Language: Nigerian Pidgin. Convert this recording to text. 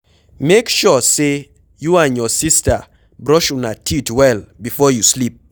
Make sure say you and your sister brush una teeth well before you sleep.